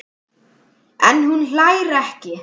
En hún hlær ekki.